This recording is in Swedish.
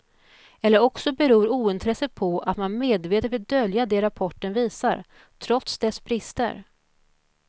Eller också beror ointresset på att man medvetet vill dölja det rapporten visar, trots dess brister.